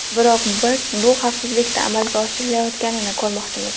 Biroq biz bu xavfsizlikda amalga oshirilayotganini ko‘rmoqchimiz.